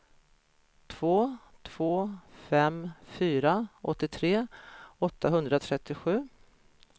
två två fem fyra åttiotre åttahundratrettiosju